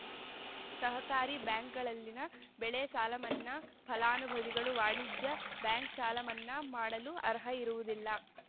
ಸಹಕಾರಿ ಬ್ಯಾಂಕ್‌ಗಳಲ್ಲಿನ ಬೆಳೆ ಸಾಲಮನ್ನಾ ಫಲಾನುಭವಿಗಳು ವಾಣಿಜ್ಯ ಬ್ಯಾಂಕ್‌ ಸಾಲ ಮನ್ನಾ ಮಾಡಲು ಅರ್ಹ ಇರುವುದಿಲ್ಲ